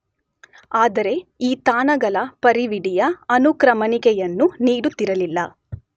ಆದರೆ ಈ ತಾಣಗಳ ಪರಿವಿಡಿಯ ಅನುಕ್ರಮಣಿಕೆಯನ್ನು ನೀಡುತ್ತಿರಲಿಲ್ಲ.